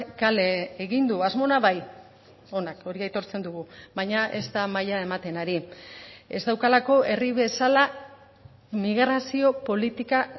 kale egin du asmo ona bai onak hori aitortzen dugu baina ez da maila ematen ari ez daukalako herri bezala migrazio politika